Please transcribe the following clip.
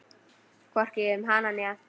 Hvorki um hana né Anton.